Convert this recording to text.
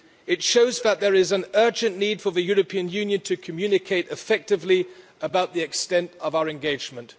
It shows that there is an urgent need for the European Union to communicate effectively about the extent of our engagement.